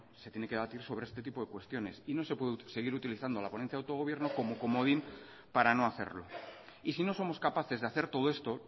se tiene que debatir sobre este tipo de cuestiones y no se puede seguir utilizando la ponencia de autogobierno como comodín para no hacerlo y si no somos capaces de hacer todo esto